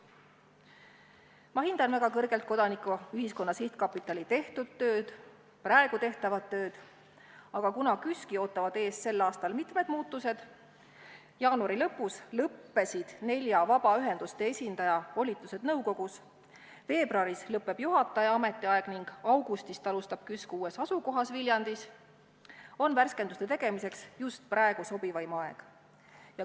Ma hindan väga kõrgelt Kodanikuühiskonna Sihtkapitali tehtud tööd, praegu tehtavat tööd, aga kuna KÜSK-i ootavad sel aastal ees mitmed muutused – jaanuari lõpus lõppesid nelja vabaühenduste esindaja volitused nõukogus, veebruaris lõpeb juhataja ametiaeg ning augustist alustab KÜSK uues asukohas Viljandis –, on värskenduste tegemiseks just praegu sobivaim aeg.